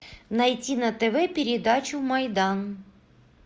найти на тв передачу майдан